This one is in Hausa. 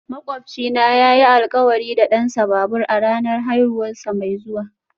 Makwabcina yayi alkawari da dansa babur a ranar haihuwarsa mai zuwa